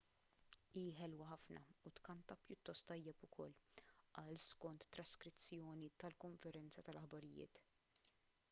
hi ħelwa ħafna u tkanta pjuttost tajjeb ukoll qal skont traskrizzjoni tal-konferenza tal-aħbarijiet